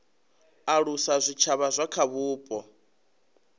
alusa zwitshavha zwa kha vhupo